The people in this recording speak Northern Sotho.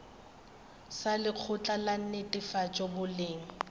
sa lekgotla la netefatšo boleng